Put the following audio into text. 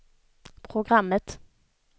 programmet